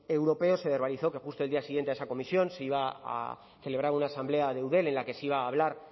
europeos se verbalizó que justo el día siguiente a esa comisión se iba a celebrar una asamblea de eudel en la que se iba a hablar